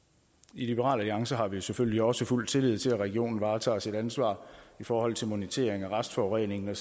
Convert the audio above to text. i liberal alliance har vi selvfølgelig også fuld tillid til at regionen varetager sit ansvar i forhold til monitering af restforureningen